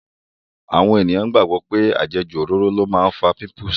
Àwọn ènìyàn gbàgbọ́ pé àjẹjù òróró ló máa ń fa pípùsì.